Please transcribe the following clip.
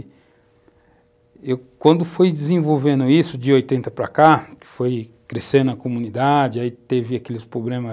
E quando foi desenvolvendo isso, de 80 para cá, foi crescendo a comunidade, aí teve aqueles problemas